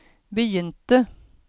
begynte